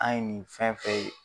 An ye nin fɛn fɛn ye.